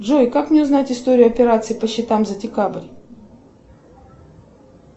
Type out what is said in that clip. джой как мне узнать историю операций по счетам за декабрь